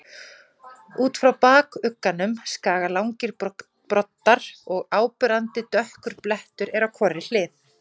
Út frá bakuggunum skaga langir broddar og áberandi dökkur blettur er á hvorri hlið.